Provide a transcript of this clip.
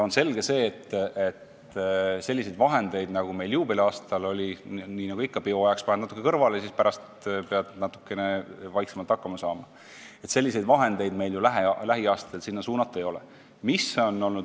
On aga selge, et nii suuri summasid, nagu meil juubeliaastal kasutada oli – nagu ikka, peo ajaks paned natuke kõrvale, pärast pead vähemaga hakkama saama –, meil lähiaastatel kultuuri suunata ei ole.